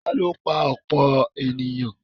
tani ó pa ọ̀pọ̀ ènìyàn?